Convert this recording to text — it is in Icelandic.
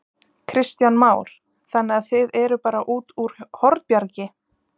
Kristján Már: Þannig að þið eruð bara út úr Hornbjargi?